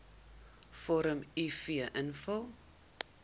vorm uf invul